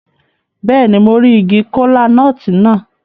Béèni, mo ri ìgi kola-nut náà